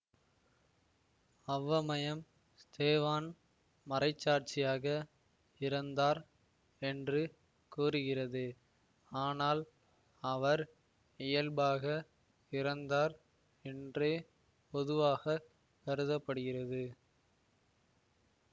அவ்வமயம் ஸ்தேவான் மறைச்சாட்சியாக இறந்தார் என்று கூறுகிறது ஆனால் அவர் இயல்பாக இறந்தார் என்றே பொதுவாக கருத படுகிறது